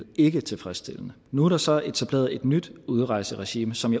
virkede tilfredsstillende nu er der så etableret et nyt udrejseregime som